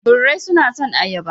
Birai suna son ayaba.